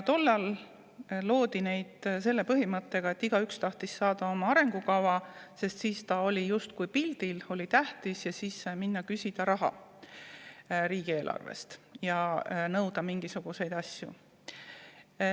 Tollal loodi neid selle põhimõttega, et igaüks tahtis saada oma arengukava, sest siis ta oli justkui pildil, oli tähtis, ja siis sai minna küsima raha riigieelarvest ja nõuda mingisuguseid asju.